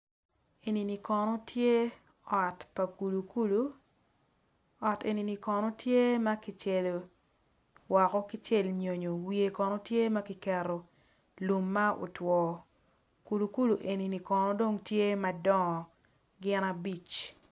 Enini kono tye ot pa kulu ot enini kono tye ma kicelo woko ki celo nyonyo wiyo kono tye ma kiketo wiyo kono tye ma kiketo lum ma otwo kulukulu enini kulu dong tye madongo gin abic